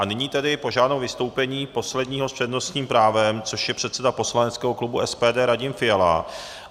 A nyní tedy požádám o vystoupení posledního z přednostním právem, což je předseda poslaneckého klubu SPD Radim Fiala.